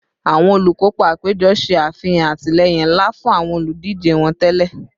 Awọn olukopa apejọ ṣe afihan atilẹyin nla fun awọn oludije wọn tẹlẹ